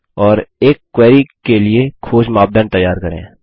और एक क्वेरी के लिए खोज मापदंड तैयार करें